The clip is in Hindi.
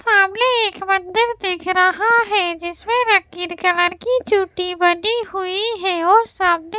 सामने एक मंदिर दिख रहा है जिसमें रंगीन कलर की चोटी बनी हुई है और सामने --